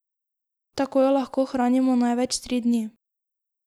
Tako jo lahko hranimo največ tri dni.